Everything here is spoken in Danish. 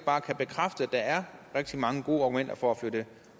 bekræfte at der er rigtig mange gode argumenter for at flytte